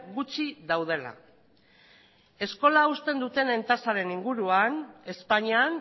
gutxi daudela eskola uzten dutenen tasaren inguruan espainian